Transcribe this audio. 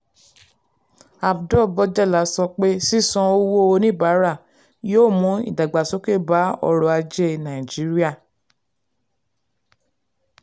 abdul-bojela sọ pé sísan owó oníbàárà yóò mú ìdàgbàsókè bá ọrọ̀ ajé nàìjíríà.